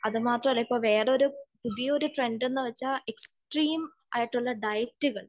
അത് മാത്രമല്ല ഇപ്പോൾ വേറൊരു പുതിയൊരു ട്രെൻഡ് എന്ന് വച്ചാൽ എക്സ്ട്രീം ആയിട്ടുള്ള ഡയറ്റുകൾ